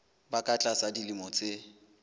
ba ka tlasa dilemo tse